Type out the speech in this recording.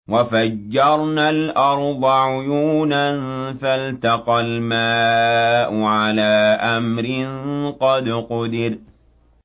وَفَجَّرْنَا الْأَرْضَ عُيُونًا فَالْتَقَى الْمَاءُ عَلَىٰ أَمْرٍ قَدْ قُدِرَ